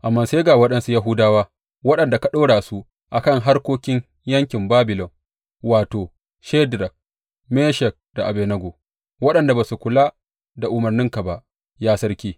Amma sai ga waɗansu Yahudawa waɗanda ka ɗora su a kan harkokin yankin Babilon, wato, Shadrak, Meshak da Abednego waɗanda ba su kula da umarninka ba, ya sarki.